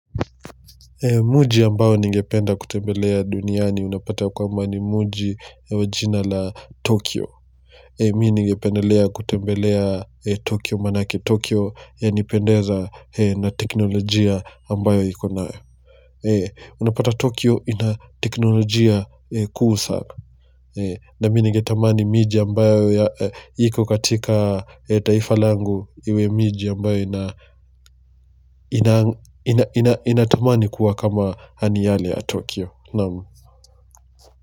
Mji ambao ningependa kutembelea duniani unapata kwamba ni mji wa jina la Tokyo Mimi ningependelea kutembelea Tokyo manake Tokyo yanipendeza na teknolojia ambayo iko nayo Unapata Tokyo ina teknolojia kuu sako na mi ningetamani miji ambayo yiko katika taifa langu iwe miji ambayo inatamani kuwa kama yani yale ya Tokyo.